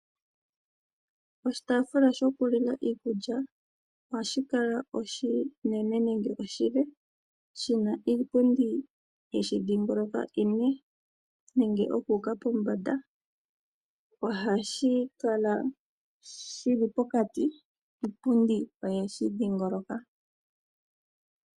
Oshitaafula shokulila iikulya ohashi kala oshinene nenge oshile shina iipundi yeshi dhingoloka ine nenge okuuka pombanda. Ohashi kala shili pokati yo iipundi oyeshi dhingoloka.